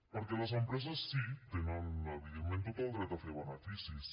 perquè les empreses sí tenen evidentment tot el dret a fer beneficis